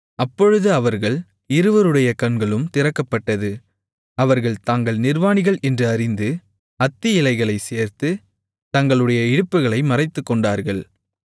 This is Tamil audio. அப்பொழுது அவர்கள் இருவருடைய கண்களும் திறக்கப்பட்டது அவர்கள் தாங்கள் நிர்வாணிகள் என்று அறிந்து அத்தி இலைகளைத் சேர்த்து தங்களுடைய இடுப்புகளை மறைத்துக்கொண்டார்கள்